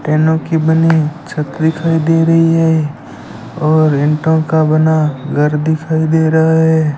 टेनो की बनी छत दिखाई दे रही है और ईंटों का बना घर दिखाई दे रहा है।